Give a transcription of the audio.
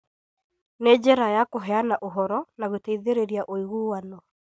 Nĩ njĩra ya kũheana ũhoro na gũteithĩrĩria ũiguano.